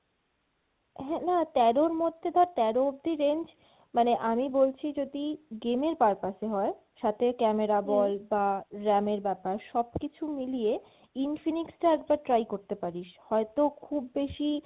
হ্যাঁ, না তেরোর মধ্যে ধর তেরো অব্দি range মানে আমি বলছি যদি game এর purpose এ হয় সাথে camera বল বা RAM এর ব্যাপার সবকিছু মিলিয়ে Infinix টা একবার try করতে পারিস, হয়তো খুব বেশি